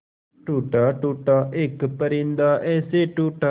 टूटा टूटा एक परिंदा ऐसे टूटा